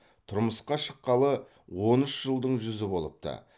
тұрмысқа шыққалы он үш жылдың жүзі болыпты